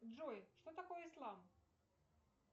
джой что такое ислам